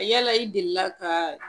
Yala i delila kaaa